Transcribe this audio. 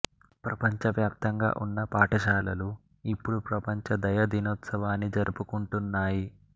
ప్రపంచవ్యాప్తంగా ఉన్న పాఠశాలలు ఇప్పుడు ప్రపంచ దయ దినోత్సవాన్ని జరుపుకుంటున్నాయి